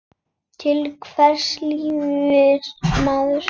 Til hvers lifir maður?